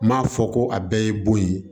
N m'a fɔ ko a bɛɛ ye bon ye